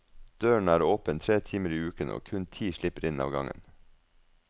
Døren er åpen tre timer i uken, og kun ti slipper inn av gangen.